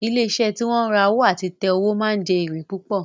Ilé iṣẹ́ tí wọ́n ma ń ra owó àti ta owó ma ń jẹ́ èrè púpọ̀